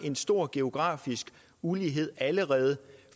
en stor geografisk ulighed allerede